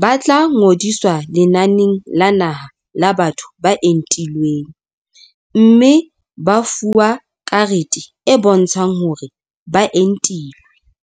ba tla ngodiswa lenaneng la naha la batho ba entilweng mme ba fuwe karete e bontshang hore ba entilwe.